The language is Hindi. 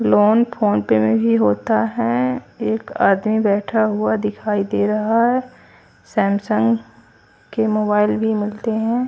लोन फ़ोन पे में ही होता हैं एक आदमी बैठा हुआ दिखाई दे रहा हैं सैमसंग के मोबाइल भी मिलते हैं।